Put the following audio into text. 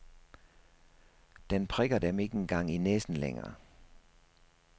Den prikker dem ikke engang i næsen længere.